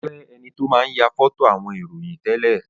Ó jẹ enito máa ń ya foto àwọn ìròyìn tẹ́lẹ̀